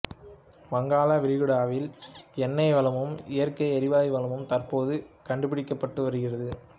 வங்காள விரிகுடாவில் எண்ணெய் வளமும் இயற்கை எரிவாயு வளமும் தற்போது கண்டுபிடிக்கப்பட்டு வருகிறது